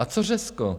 A co Řecko?